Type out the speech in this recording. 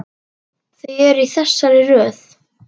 Þau eru í þessari röð: